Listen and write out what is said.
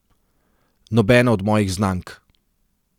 Nobena od mojih znank.